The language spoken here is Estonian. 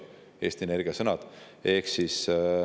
Need on Eesti Energia sõnad.